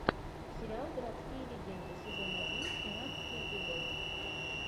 сериал городские легенды сезон один тринадцатый эпизод